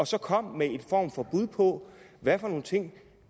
så kom med en form for bud på hvad for nogle ting